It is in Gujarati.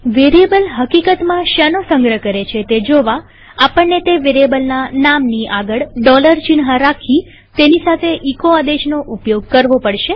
વેરીએબલ હકીકતમાં શેનો સંગ્રહ કરે છે તે જોવા આપણને તે વેરીએબલના નામની આગળ ચિહ્ન રાખી તેની સાથે એચો આદેશનો ઉપયોગ કરવો પડશે